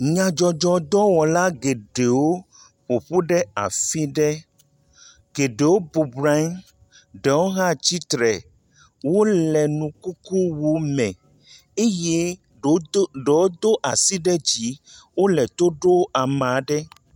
Nyadzɔdzɔdɔwɔla geɖewo ƒoƒu ɖe afi ɖe. Geɖewo bɔbɔnɔ anyi. Ɖewo hã tsitre. Wo le nukukuu me eye ɖewo do ɖewo do asi ɖe dzi wo le to ɖom ame aɖe.